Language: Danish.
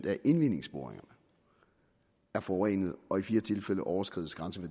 af indvindingsboringerne er forurenede og i fire tilfælde overskred